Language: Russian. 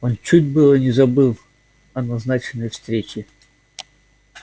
он чуть было не забыл о назначенной встрече